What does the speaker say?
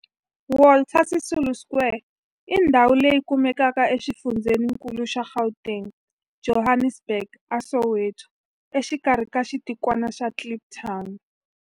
Walter Sisulu Square i ndhawu leyi kumekaka exifundzheni-nkulu xa Gauteng, Johannesburg, a Soweto, exikarhi ka xitikwana xa Kliptown.